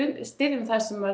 styðji það sem